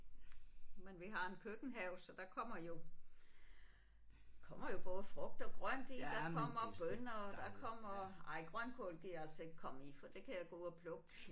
Men vi har en køkkenhave så der kommer jo kommer jo både frugt og grønt i der kommer bønner og der kommer ej grønkål gider jeg altså ikke komme i for det kan jeg gå og plukke